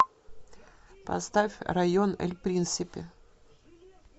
поставь район эль принсипе